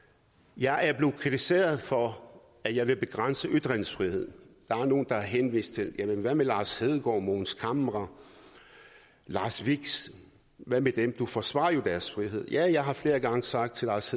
jeg er blevet kritiseret for at jeg vil begrænse ytringsfriheden der er nogle der har henvist til lars hedegaard mogens camre lars vilks hvad med dem du forsvarer jo deres frihed ja jeg har flere gange sagt til lars